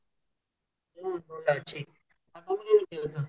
ହୁଁ ଭଲ ଅଛି ତମେ କେମତି ଅଛ